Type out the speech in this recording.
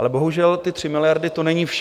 Ale bohužel, ty 3 miliardy, to není vše.